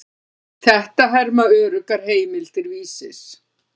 Þetta herma öruggar heimildir Vísis.